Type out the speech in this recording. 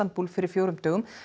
Istanbul fyrir fjórum dögum